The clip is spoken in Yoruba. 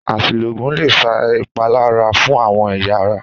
Às̩ìlò ògùn lè fa ìpalára fún àwo̩n è̩yà ara